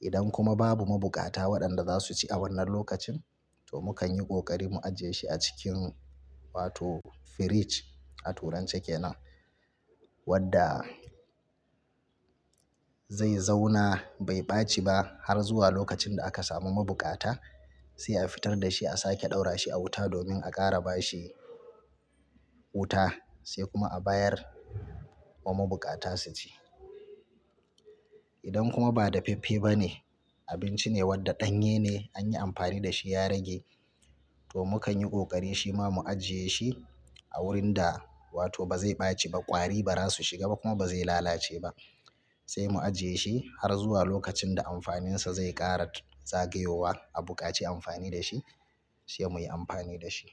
Idan kuma babu mabukata waɗanda za su ci a wannan lokacin to muka yi ƙoƙari mu ajiye shi a cikin wato fridge a Turance ke nan wadda zai zauna bai ɓaci ba har zuwa lokacin da aka samu mabukata sai a fitar da shi a sake ɗaura shi a wuta domin a ƙara ba shi wuta sai kuma a bayar wa mabukata su ci. Idan kuma ba dafaffe bane, abinci ne wadda ɗanye ne an yi amfani da shi ya rage to mukan yi ƙoƙari shima mu ajiye shi a wurin da wato ba zai ɓaci ba, ƙwari ba za su shiga ba kuma ba zai lalace ba sai mu ajiye shi har zuwa lokacin da amfaninsa zai ƙara zagayowa a buƙaci amfani da shi sai muyi amfani da shi.